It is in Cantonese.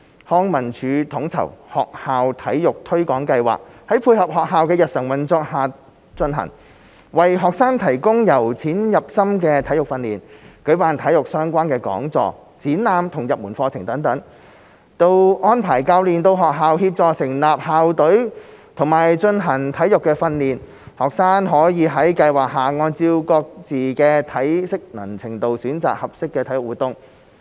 康文署統籌的學校體育推廣計劃在配合學校的日常運作下進行，為學生提供由淺入深的體育訓練，舉辦體育相關講座、展覽及入門課程等，到安排教練到學校協助成立校隊及進行體育訓練，學生可在計劃下按照各自的體適能程度選擇合適的體育活動。